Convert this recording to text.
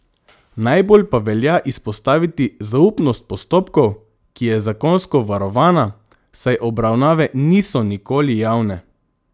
Najbolj pa velja izpostaviti zaupnost postopkov, ki je zakonsko varovana, saj obravnave niso nikoli javne.